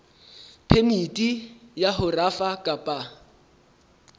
phemiti ya ho rafa kapa